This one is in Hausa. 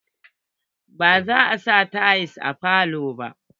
Ba za a sa tayal a falo ba.